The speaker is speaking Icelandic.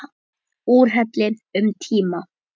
Úrhelli um tíma.